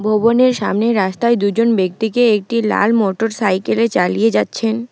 ভবনে সামনের রাস্তায় দুজন ব্যক্তিকে একটি লাল মোটরসাইকেলে চালিয়ে যাচ্ছেন।